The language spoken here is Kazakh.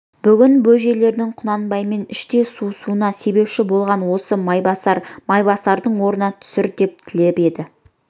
бүгін бөжейлердің құнанбаймен іштей суысуына себепші болған да осы майбасар майбасарды орнынан түсір деп тілеп еді